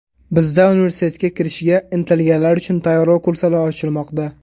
Bizda universitetga kirishga intilganlar uchun tayyorlov kurslari ochilmoqda!